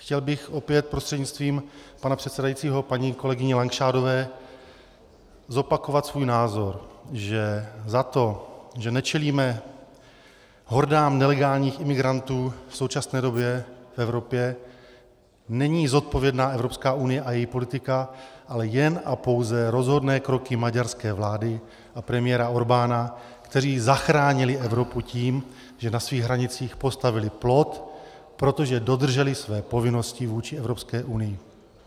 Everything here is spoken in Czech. Chtěl bych, opět prostřednictvím pana předsedajícího, paní kolegyni Langšádlové zopakovat svůj názor, že za to, že nečelíme hordám nelegálních imigrantů v současné době v Evropě, není zodpovědná Evropská unie a její politika, ale jen a pouze rozhodné kroky maďarské vlády a premiéra Orbána, kteří zachránili Evropu tím, že na svých hranicích postavili plot, protože dodrželi své povinnosti vůči Evropské unii.